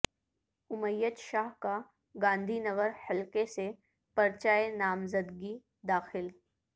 امیت شاہ کا گاندھی نگر حلقہ سے پرچہ نامزدگی داخل